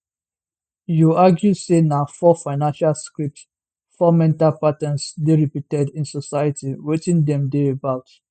you argue say na four financial scripts four mental patterns dey repeated in society wetin dem dey about